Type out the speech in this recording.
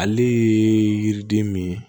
Ale ye yiriden min ye